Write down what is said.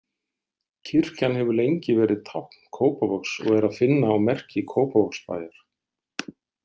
Kirkjan hefur lengi verið tákn Kópavogs og er að finna á merki Kópavogsbæjar.